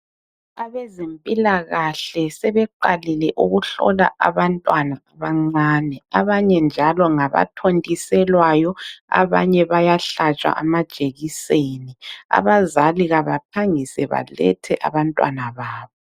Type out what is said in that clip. Ebezempilakahle sebeqalile ukuhlola abantwana abancane. Abanye njalo ngabathontiselwayo abanye bayahlatshwa amajekiseni. Abazali kabaphangise balethe abantwana babo.